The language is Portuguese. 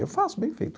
Eu faço bem feito.